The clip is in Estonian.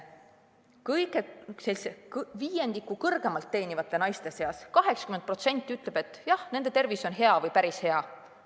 Kõrgemat sissetulekut teenivatest naistest, viiendikust naistest, ütleb 80%, et jah, nende tervis on hea või päris hea.